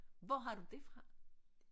Hvor har du det fra